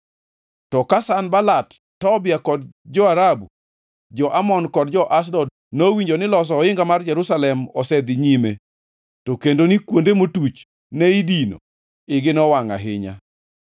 To ka Sanbalat, Tobia, jo-Arabu, jo-Amon kod jo-Ashdod nowinjo ni loso ohinga mar Jerusalem osedhi nyime to kendo ni kuonde motuch ne idino, igi nowangʼ ahinya.